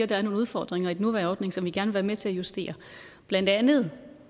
der er nogle udfordringer i den nuværende ordning som vi gerne vil være med til at justere blandt andet